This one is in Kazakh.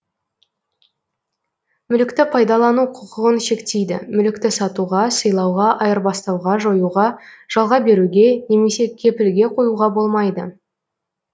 мүлікті пайдалану құқығын шектейді мүлікті сатуға сыйлауға айырбастауға жоюға жалға беруге немесе кепілге коюға болмайды